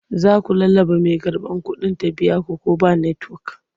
Za su lallaɓa mai karɓar kuɗin ta biya su ko ba netiwok.